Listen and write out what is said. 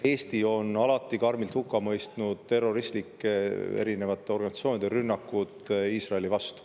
Eesti on alati karmilt hukka mõistnud erinevate terroristlike organisatsioonide rünnakud Iisraeli vastu.